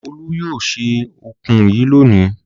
Olú yóò se ọ̀kùn yìí lónìí!